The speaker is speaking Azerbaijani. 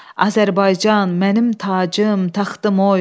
Azərbaycan, mənim tacım, taxtım oy.